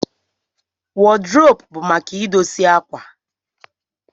wọd rop bu maka idosie akwa.